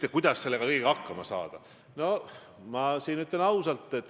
Me võime seda pidada heaks või halvaks, aga see on üks pool asjast.